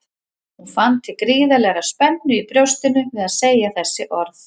Hún fann til gríðarlegrar spennu í brjóstinu við að segja þessi orð.